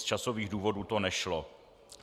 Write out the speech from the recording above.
Z časových důvodů to nešlo.